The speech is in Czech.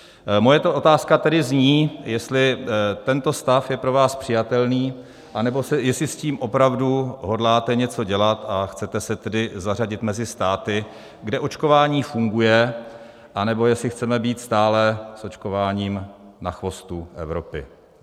Moje otázka tedy zní, jestli tento stav je pro vás přijatelný, nebo jestli s tím opravdu hodláte něco dělat a chcete se tedy zařadit mezi státy, kde očkování funguje, anebo jestli chceme být stále s očkováním na chvostu Evropy.